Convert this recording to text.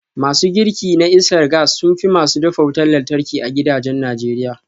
Masu girki na iskar gas sun fi masu dafa wutar lantarki a gidajen Najeriya